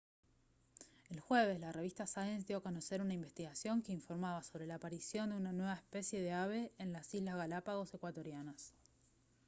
el jueves la revista science dio a conocer una investigación que informaba sobre la aparición de una nueva especie de ave en las islas galápagos ecuatorianas